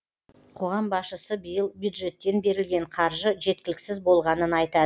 қоғам басшысы биыл бюджеттен берілген қаржы жеткіліксіз болғанын айтады